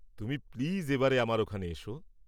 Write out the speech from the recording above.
তুমি প্লিজ এবারে আমার ওখানে এসো।